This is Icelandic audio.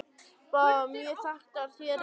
Báðar mjög þekktar hér í París.